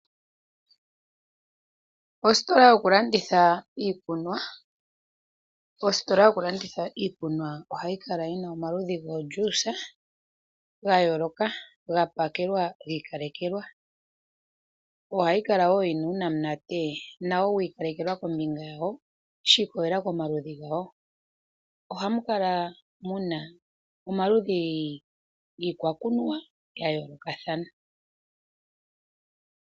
Ositola yokulanditha iikunwa. Ositola yoku landitha iikunwa ohayi kala yina omaludhi goo juice gayooloka gapakelwa giikalekelwa. Ohayi kala wo yina uunamunate nawo wiikalekelwa kombinga yawo, shi ikwatelela pamaludhi gawo. Ohamukala muna omaludhi giikunwa gayoolokathana.